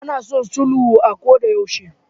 Ana son sulhu a kodayaushe.